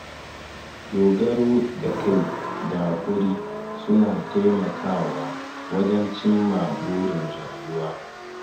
Dogaro da kai da hakuri suna taimakawa wajen cimma burin rayuwa.